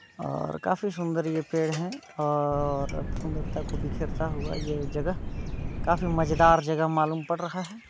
अ काफी सुन्दर ये पेड़ है और खाफी सुन्दरता को बिखेरते हुआ जगह काफी मजेदार जगह मालूम पड़ रहा है।